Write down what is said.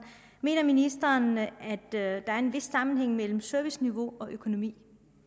mener ministeren at der er en vis sammenhæng mellem serviceniveau og økonomi